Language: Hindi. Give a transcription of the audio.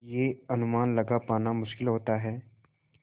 यह अनुमान लगा पाना मुश्किल होता है